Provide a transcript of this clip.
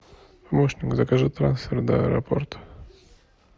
помощник закажи трансфер до аэропорта